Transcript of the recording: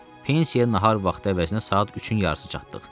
Pensiya nahar vaxtı əvəzinə saat üçün yarısı çatdıq.